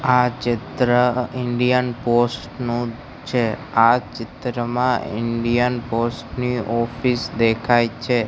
આ ચિત્ર Indian post નું છે આ ચિત્રમાં ઇન્ડિયન પોસ્ટ ની ઓફિસ દેખાય છે.